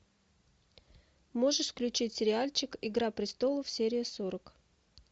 можешь включить сериальчик игра престолов серия сорок